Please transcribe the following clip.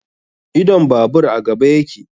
Idon babur a gaba yake